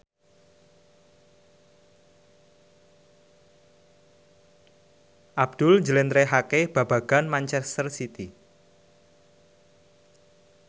Abdul njlentrehake babagan manchester city